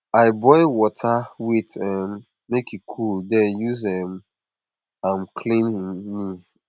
i boil water wait um make e cool then use um am clean hin knee